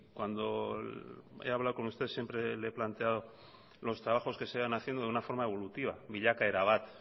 cuando he hablado con usted siempre le he planteado los trabajos se sigan haciendo de una forma evolutiva bilakaera bat